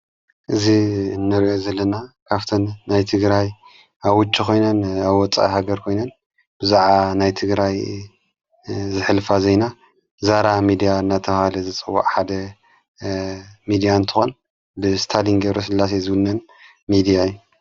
እዙ እንርኦ ዘለና ካፍተን ናይ ትግራይ ኣዉጪ ኾይነን ኣብወፃኢ ሃገር ኮይነን ብዙዓባ ናይትግራይ ዘኅልፋ ዜይና ዛራ ሚድያ እናተበሃለ ዘፅውዓ ሓደ ሚድያ ንእትኾን ብስታሊን ገብረስላሴ ዝውነን ሚድያ እዩ።